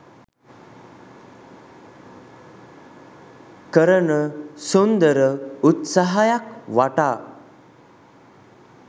කරන සුන්දර උත්සාහයක් වටා